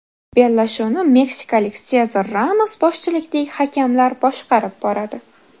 Bellashuvni meksikalik Sezar Ramos boshchiligidagi hakamlar boshqarib boradi.